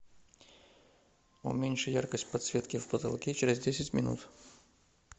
уменьши яркость подсветки в потолке через десять минут